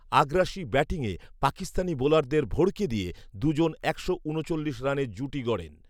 আগ্রাসী ব্যাটিংয়ে পাকিস্তানি বোলারদের ভড়কে দিয়ে দুজন একশো উনচল্লিশ রানের জুটি গড়েন